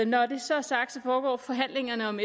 når det så er sagt foregår forhandlingerne om